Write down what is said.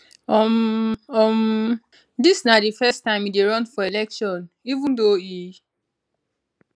um um dis na di first time e dey run for election even though e